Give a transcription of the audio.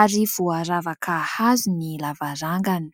ary voaravaka hazo ny lavarangany.